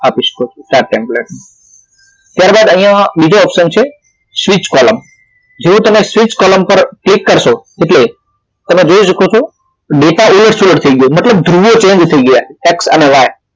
આપી શકો chart template માં ત્યારબાદ અહિયાં બીજું option છે switch column જેવુ તમે switch column પર ક્લિક કરશો એટલે તમે જોઈ શકો છો ડેટા એ select થઇ ગયો જૂનો હતો એ change થઈ ગયો એક્સ અને વાય